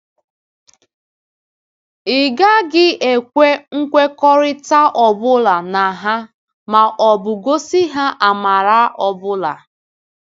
Ị gaghị ekwe nkwekọrịta ọ bụla na ha ma ọ bụ gosi ha amara ọ bụla.”